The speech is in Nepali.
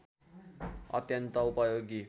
अत्यन्त उपयोगी